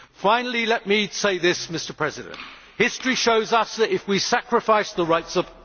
Finally, let me say this, Mr President history shows us that if we sacrifice the rights of